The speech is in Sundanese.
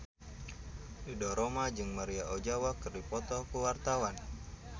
Ridho Roma jeung Maria Ozawa keur dipoto ku wartawan